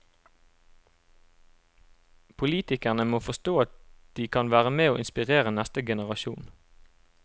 Politikerne må forstå at de kan være med å inspirere neste generasjon.